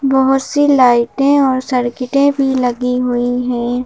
बहुत सी लाइटें और सर्किटें भी लगी हुई हैं।